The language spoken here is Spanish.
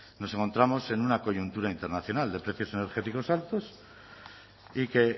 nos encontramos en una coyuntura internacional de precios energéticos altos y que